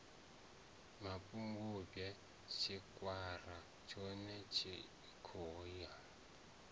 mapungubwe tshikwara tshone thikho ya